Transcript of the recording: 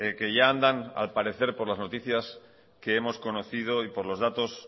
que ya andan al parecer por las noticias que hemos conocido y por los datos